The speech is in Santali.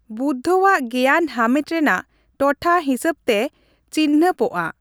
ᱵᱩᱫᱽᱫᱷᱚᱣᱟᱜ ᱜᱮᱭᱟᱱ ᱦᱟᱢᱮᱴ ᱨᱮᱱᱟᱜ ᱴᱚᱴᱷᱟ ᱦᱤᱥᱟᱹᱵᱽ ᱛᱮ ᱪᱤᱱᱦᱟᱹᱯᱚᱜᱼᱟ ᱾